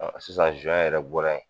Sisan yɛrɛ bɔra yen